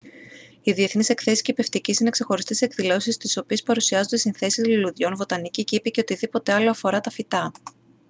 οι διεθνείς εκθέσεις κηπευτικής είναι ξεχωριστές εκδηλώσεις στις οποίες παρουσιάζονται συνθέσεις λουλουδιών βοτανικοί κήποι και οτιδήποτε άλλο αφορά τα φυτά